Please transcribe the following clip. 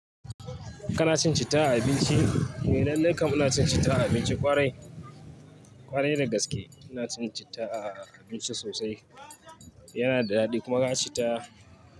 Kana cin cita a abinci? Eh lallai kam ina cin cita a abinci. Kwarai, kwarai dagaske ina cin cita a abinci sosai. Yana da daɗi kuma ga cita.